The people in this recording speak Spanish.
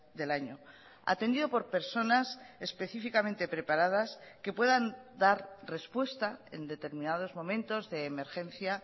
del año atendido por personas específicamente preparadas que puedan dar respuesta en determinados momentos de emergencia